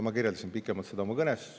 Ma kirjeldasin pikemalt seda oma kõnes.